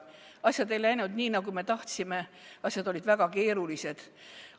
Asjad ei läinud nii, nagu me tahtsime, asjad olid väga keerulised.